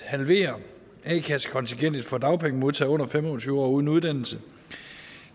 halvere a kassekontingentet for dagpengemodtagere under fem og tyve år uden uddannelse